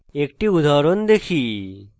একটি উদাহরণ দেখি